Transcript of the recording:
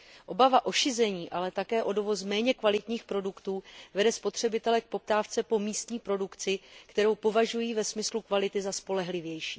Obava z šizení, ale také z dovozu méně kvalitních produktů vede spotřebitele k poptávce po místní produkci, kterou považují ve smyslu kvality za spolehlivější.